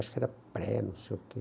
Acho que era pré, não sei o quê.